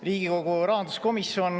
Riigikogu rahanduskomisjon ...